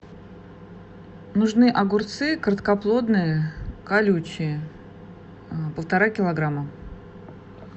нужны огурцы короткоплодные колючие полтора килограмма